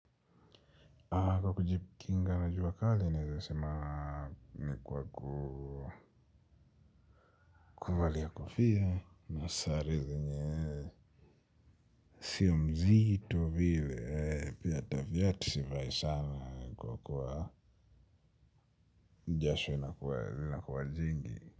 Kwa kujikinga na jua kali naeza sema ni kwa kuvalia kofia na sare zenye sio mzito vile pia hata viatu sivai sana kwa kuwa jasho inakuwa jingi.